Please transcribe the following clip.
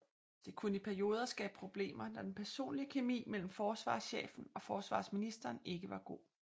Det kunne i perioder skabe problemer når den personlige kemi mellem forsvarschefen og forsvarsministeren ikke var god